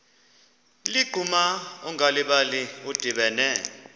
ligquma ungalibali udibene